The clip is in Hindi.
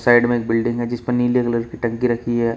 साइड में एक बिल्डिंग है जिस पर नीले कलर की टंकी रखी है।